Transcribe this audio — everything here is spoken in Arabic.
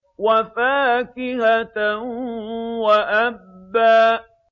وَفَاكِهَةً وَأَبًّا